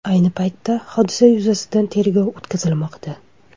Ayni paytda, hodisa yuzasidan tergov o‘tkazilmoqda.